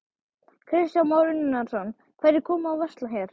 Kristján Már Unnarsson: Hverjir koma og versla hér?